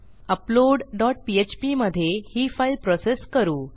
upload dot PHP मधे ही file process करू